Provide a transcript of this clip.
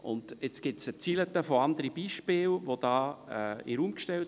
Es wurden vorhin eine ganze Reihe anderer Beispiele in den Raum gestellt.